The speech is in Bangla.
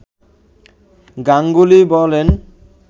গাঙ্গুলি বলেন